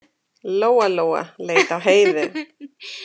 Lóa-Lóa leit á Heiðu.